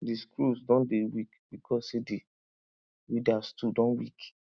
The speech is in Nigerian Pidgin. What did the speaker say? the screws don dey weak because say the weeder too don weak